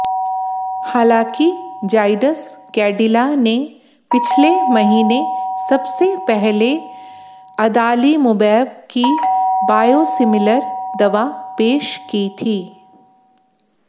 हालांकि जायडस कैडिला ने पिछले महीने सबसे पहले अदालिमुमैब की बायोसिमिलर दवा पेश की थी